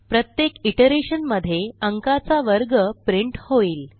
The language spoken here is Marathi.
प्रत्येक इटरेशन मध्ये अंकाचा वर्ग प्रिंट होईल